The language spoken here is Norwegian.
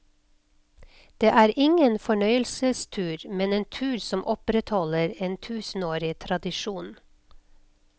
Det er ingen fornøyelsestur, men en tur som opprettholder en tusenårig tradisjon.